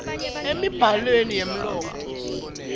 emibhalweni yemlomo sib